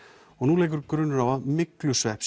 og leikur grunur á myglusvepp